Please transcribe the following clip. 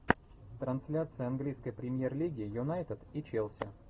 трансляция английской премьер лиги юнайтед и челси